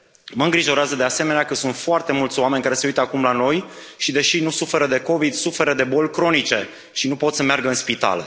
Mă îngrijorează, de asemenea, că sunt foarte mulți oameni care se uită acum la noi și, deși nu suferă de COVID 19, suferă de boli cronice și nu pot să meargă în spital.